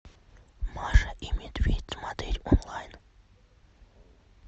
маша и медведь смотреть онлайн